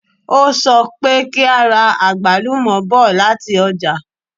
O sọ pé kí a ra àgbálùmọ̀ bọ̀ lati ọ́jà